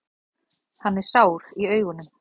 Hann er sár í augunum.